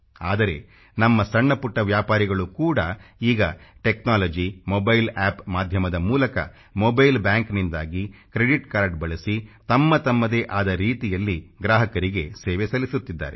ಆದರೆ ನಮ್ಮ ಸಣ್ಣ ಪುಟ್ಟ ವ್ಯಾಪಾರಿಗಳು ಕೂಡ ಈಗ ಟೆಕ್ನಾಲಜಿ ಮೊಬೈಲ್ ಅಪ್ ಮಾಧ್ಯಮದ ಮೂಲಕ ಮೊಬೈಲ್ ಬಾಂಕ್ನಿಂದಾಗಿ ಕ್ರೆಡಿಟ್ ಕಾರ್ಡ ಬಳಸಿ ತಮ್ಮ ತಮ್ಮದೇ ಆದ ರೀತಿಯಲ್ಲಿ ಗ್ರಾಹಕರಿಗೆ ಸೇವೆ ಸಲ್ಲಿಸುತ್ತಿದ್ದಾರೆ